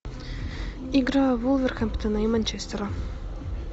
игра вулверхэмптона и манчестера